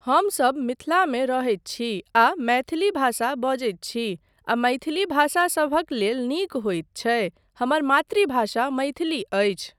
हमसब मिथिलामे रहैत छी आ मैथिली भाषा बजैत छी, आ मैथिली भाषा सभक लेल नीक होइत छै, हमर मातृभाषा मैथिली अछि।